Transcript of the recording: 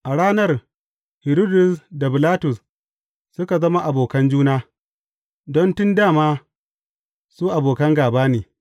A ranar, Hiridus da Bilatus suka zama abokan juna, don tun dā ma, su abokan gāba ne.